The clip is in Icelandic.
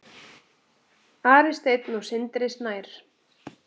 Ari Steinn og Sindri Snær.